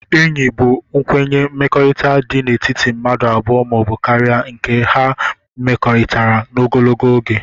Enyi bu nkwenye mmekọrita di n' etiti mmadu abụọ ma obu karia nke ha mmekọritara ogologo oge